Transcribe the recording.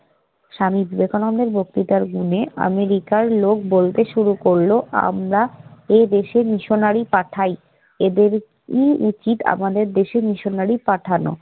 স্বামী বিবেকানন্দের বক্তৃতার গুণে আমেরিকার লোক বলতে শুরু করল, আমরা এদেশে মিশনারী পাঠাই, এদেরই উচিৎ আমাদের দেশে মিশনারী পাঠানো।